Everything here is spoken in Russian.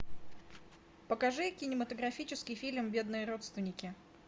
покажи кинематографический фильм бедные родственники